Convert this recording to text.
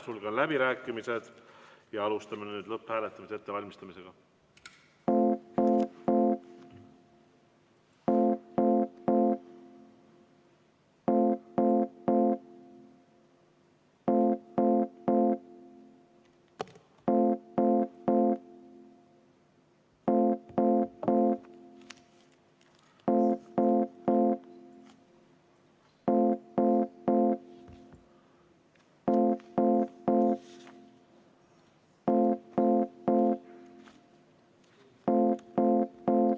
Sulgen läbirääkimised ja alustame lõpphääletamise ettevalmistamist.